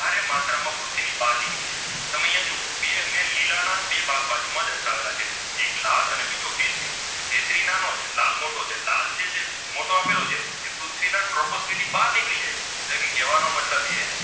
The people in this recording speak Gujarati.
ઘણા બે ભાગ બાજુ દર્શાવેલા છે લાલ અને બીજો કેશરી કેશરી નાનો છે ને લાલ મોટો છે લાલ જે મોટો આપેલો છે એ પૃથ્વીના troposphere ની બહાર નિકળી જાય છે એટલે કહેવાનો મતલબ એ